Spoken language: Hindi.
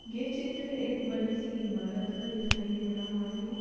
यह चित्र एक बड़ी सी इमारत का दिखाई दे रहा है।